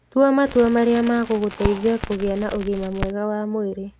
Tua matua marĩa megũgũteithia kũgĩa na ũgima mwega wa mwĩrĩ.